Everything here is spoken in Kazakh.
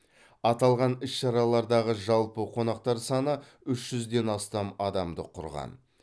аталған іс шаралардағы жалпы қонақтар саны үш жүзден астам адамды құраған